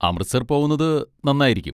അമൃത്സർ പോവുന്നത് നന്നായിരിക്കും.